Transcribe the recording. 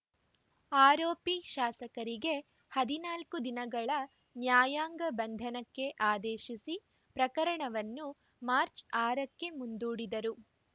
ಆರೋಪಿ ಶಾಸಕರಿಗೆ ಹದಿನಾಲ್ಕು ದಿನಗಳ ನ್ಯಾಯಾಂಗ ಬಂಧನಕ್ಕೆ ಆದೇಶಿಸಿ ಪ್ರಕರಣವನ್ನು ಮಾರ್ಚ್ ಆರ ಕ್ಕೆ ಮುಂದೂಡಿದರು